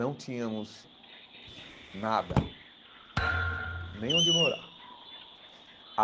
Não tínhamos nada, nem onde morar.